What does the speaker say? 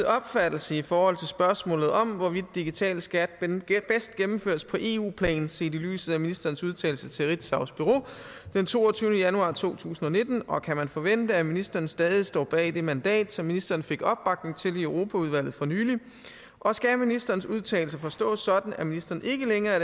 opfattelse i forhold til spørgsmålet om hvorvidt digital skat bedst gennemføres på eu plan set i lyset af ministerens udtalelse til ritzaus bureau den toogtyvende januar to tusind og nitten og kan man forvente at ministeren stadig står bag det mandat som ministeren fik opbakning til i europaudvalget for nylig og skal ministerens udtalelse forstås sådan at ministeren ikke længere er